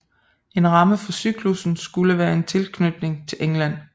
En ramme for cyklussen skulle være en tilknytning til England